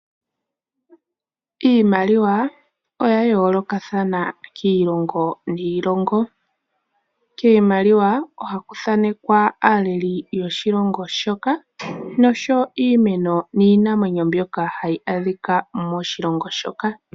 Iimaliwa oya yoolokathana kiilongo niilongo, kiimaliwa ohaku thaanekwa aaleli yoshilongo shoka nosho woo iimeno niinamwenyo mbyoka hayaadhika moshilongo shoka.